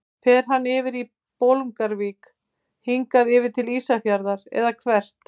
Fer hann yfir í Bolungarvík, hingað yfir til Ísafjarðar eða hvert?